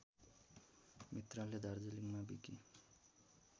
मित्रले दार्जिलिङमा विकि